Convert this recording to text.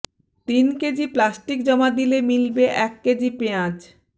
তিন KG plastic জমা দিলে মিলবে এক কেজি পেঁয়াজ